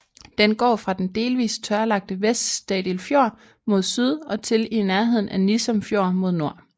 Den går fra den delvis tørlagte Vest Stadil Fjord mod syd og til i nærheden af Nissum Fjord mod nord